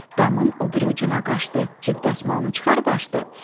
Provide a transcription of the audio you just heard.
Damın o biri ucuna qaçdı, cib dəsmalını çıxarıb açdı.